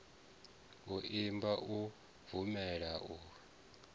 u imba u bvumela u